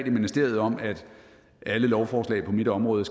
i ministeriet om at alle lovforslag på mit område